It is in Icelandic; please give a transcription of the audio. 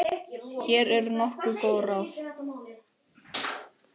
Hér eru nokkur góð ráð.